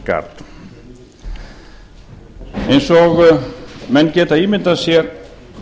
coast guard eins og menn geta ímyndað sér